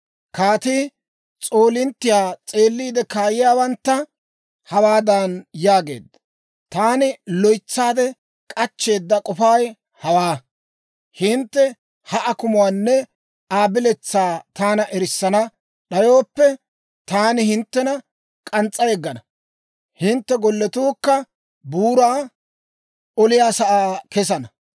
Kaatii s'oolinttiyaa s'eeliide kaayiyaawantta hawaadan yaageedda; «Taani loytsaade k'achcheeda k'ofay hawaa. Hintte ha akumuwaanne Aa biletsaa taana erissana d'ayooppe, taani hinttena k'ans's'a yeggana; hintte golletuukka buuraa oliyaa sa'aa kesana.